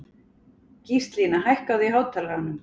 Gíslína, hækkaðu í hátalaranum.